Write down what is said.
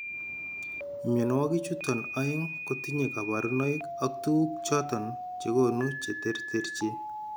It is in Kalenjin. Mnyonuagik chuton aeng kotinye kabarunaik ak tugug choton chegonu che terterchin